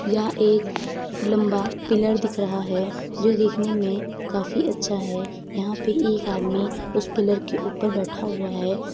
यहां एक लम्बा पिलर दिख रहा है जो दिखने में काफी अच्छा है। यहाँ पे एक आदमी उस पिलर के ऊपर बैठा हुआ है।